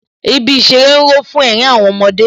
Ibi ìṣeré ń ró fún ẹ̀rín àwọn ọmọdé